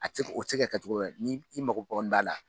A tɛ se o tɛ se ka kɛ cogo ni i mago kɔni b'a la.